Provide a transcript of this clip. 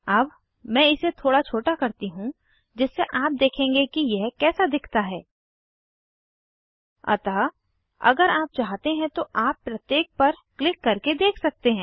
अब मैं इसे थोड़ा छोटा करती हूँ जिससे आप देखेंगे कि यह कैसा दिखता है अतः अगर आप चाहते हैं तो आप प्रत्येक पर क्लिक करके देख सकते हैं